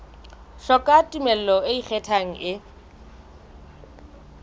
hloka tumello e ikgethang e